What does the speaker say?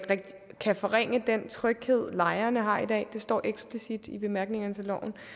kan forringe den tryghed lejerne har i dag det står eksplicit i bemærkningerne til